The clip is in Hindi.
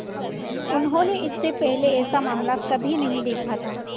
उन्होंने इससे पहले ऐसा मामला कभी नहीं देखा था